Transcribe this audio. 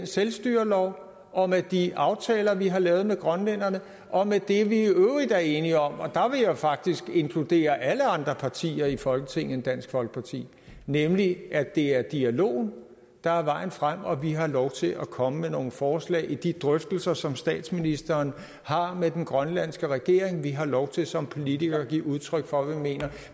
selvstyreloven og med de aftaler vi har lavet med grønlænderne og med det vi i øvrigt er enige om og der vil jeg faktisk inkludere alle andre partier i folketinget end dansk folkeparti nemlig at det er dialogen der er vejen frem at vi har lov til at komme med nogle forslag i de drøftelser som statsministeren har med den grønlandske regering at vi har lov til som politikere at give udtryk for hvad vi mener